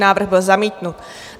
Návrh byl zamítnut.